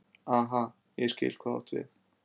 Aha, ég skil hvað þú átt við.